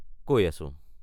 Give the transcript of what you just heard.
কৈ আছো৷